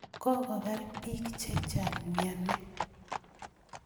Kokopar piik che chang' miani